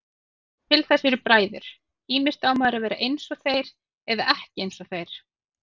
Til þess eru bræður, ýmist á maður að vera einsog þeir eða ekki einsog þeir.